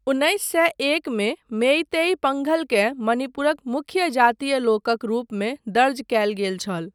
उन्नैस सए एकमे, मेईतेई पंघलकेँ मणिपुरक मुख्य जातीय लोकक रूपमे दर्ज कयल गेल छल।